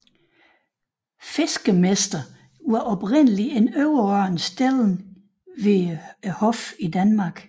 Fiskemester var oprindelig en overordnet stilling ved hoffet i Danmark